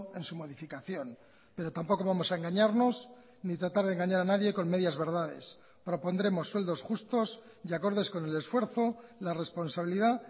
en su modificación pero tampoco vamos a engañarnos ni tratar de engañar a nadie con medias verdades propondremos sueldos justos y acordes con el esfuerzo la responsabilidad